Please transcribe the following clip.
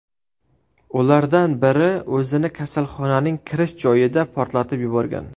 Ulardan biri o‘zini kasalxonaning kirish joyida portlatib yuborgan.